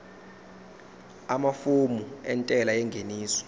amafomu entela yengeniso